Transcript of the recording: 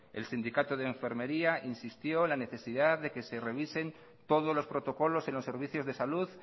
el sindicato de enfermería insistió en la necesidad de que se revisen todos los protocolos en los servicios de salud